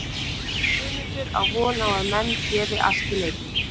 Guðmundur á von á að menn gefi allt í leikinn.